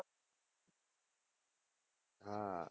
હા